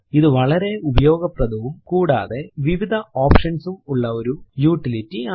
ഇത് വളരെ ഉപയോഗപ്രദവും കൂടാതെ വിവിധ ഓപ്ഷൻസ് ഉം ഉള്ള ഒരു യൂട്ടിലിറ്റി ആണ്